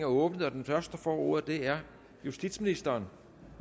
åbnet og den første der får ordet er justitsministeren